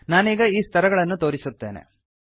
ನಾನೀಗ ಈ ಸ್ತರಗಳನ್ನು ತೋರಿಸುತ್ತೇನೆ